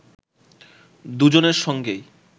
দুজনের সঙ্গেই